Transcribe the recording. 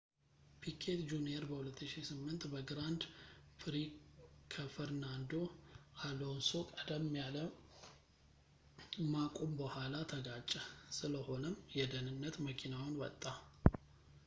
ፒኬት ጁንየር በ2008 በግራንድ ፕሪ ከፈርናንዶ አሎንሶ ቀደም ያለ ማቁም በኋላ ተጋጨ ስለሆነም የደህንነት መኪናውን ወጣ